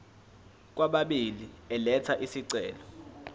kwababili elatha isicelo